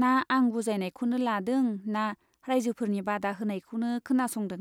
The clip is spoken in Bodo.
ना आं बुजायनायखौनो लादों ना राइजोफोरनि बादा होनायखौनो खोनासंदों।